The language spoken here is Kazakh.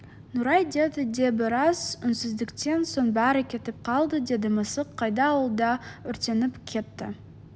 нұрай деді де біраз үнсіздіктен соң бәрі кетіп қалды деді мысық қайда ол да өртеніп кетті